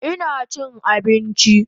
Ina chin abinchi